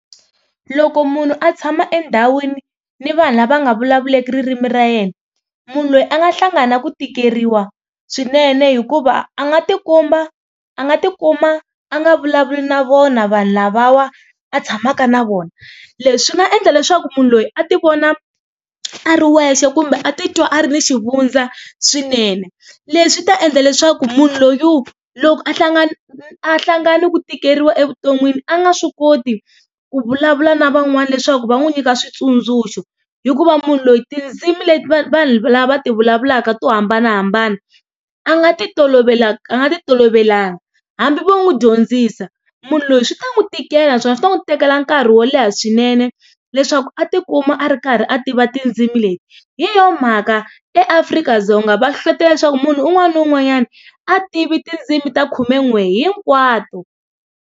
Loko munhu a tshama endhawini ni vanhu lava nga vulavuleki ririmi ra yena munhu loyi a nga hlangana na ku tikeriwa swinene hikuva a nga tikomba a nga tikuma a nga vulavuli na vona vanhu lavawa a tshamaka na vona leswi nga endla leswaku munhu loyi a ti vona a ri wexe kumbe a titwa a ri ni xivundza swinene leswi ta endla leswaku munhu loyi loko a hlangana a hlangana ni ku tikeriwa evuton'wini a nga swi koti ku vulavula na van'wana leswaku va n'wi nyika switsundzuxo hikuva munhu loyi tindzimi leti vanhu lava ti vulavulaka to hambanahambana a nga ti tolovelanga a nga ti tolovelanga hambi vo n'wi dyondzisa munhu loyi swi ta n'wi tikela naswona swi ta n'wi tekela nkarhi wo leha leha swinene leswaku a tikuma a ri karhi a tiva tindzimi leti hi yona mhaka eAfrika-Dzonga va hlohlotela leswaku munhu un'wana na un'wanyana a tivi tindzimi ta khumen'we hinkwato.